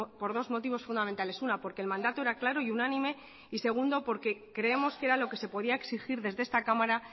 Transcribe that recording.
por dos motivos fundamentales una porque el mandato era claro y unánime y segundo porque creemos que era lo que se podía exigir desde esta cámara